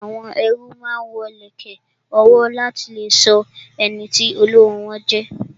Àwọn ẹrú máa ń wo ìlẹ̀kẹ̀ ọwọ́ láti lè sọ ẹniti olówó wọn jẹ